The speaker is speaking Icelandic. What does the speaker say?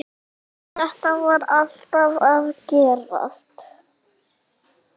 Þetta var alltaf að gerast.